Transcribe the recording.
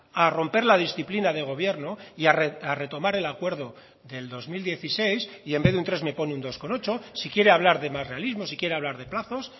a romper la disciplina de gobierno y a retomar el acuerdo del dos mil dieciséis y en vez de un tres me pone un dos coma ocho si quiere hablar de más realismo si quiere hablar de plazos